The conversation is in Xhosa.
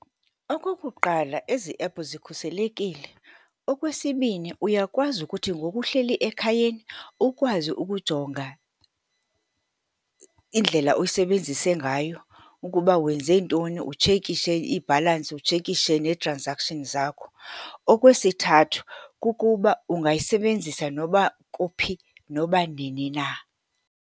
Okokuqala, ezi ephu zikhuselekile. Okwesibini, uyakwazi ukuthi ngoku uhleli ekhayeni, ukwazi ukujonga indlela osebenzise ngayo, ukuba wenze ntoni. Utshekishe ibhalansi, utshekishe nee-transactions zakho. Okwesithathu, kukuba ungayisebenzisa noba kuphi, noba nini na.